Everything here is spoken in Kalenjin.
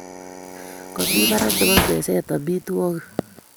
Kamii barak nebo meset amitwogik